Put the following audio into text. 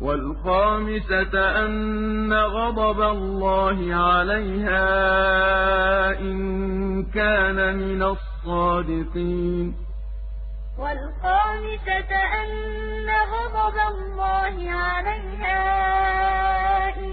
وَالْخَامِسَةَ أَنَّ غَضَبَ اللَّهِ عَلَيْهَا إِن كَانَ مِنَ الصَّادِقِينَ وَالْخَامِسَةَ أَنَّ غَضَبَ اللَّهِ عَلَيْهَا إِن